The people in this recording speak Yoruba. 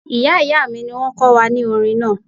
Ìyá ìyá mi ni wọ́n kọ́ wa ní orin náà